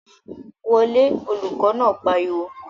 Wọ lé! Olùkọ̀ náà pariwo